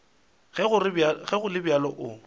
ge go le bjalo o